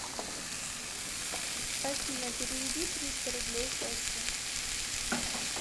афина переведи триста рублей косте